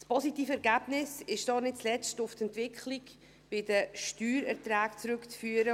Das positive Ergebnis ist nicht zuletzt auf die Entwicklung bei den Steuererträgen zurückzuführen.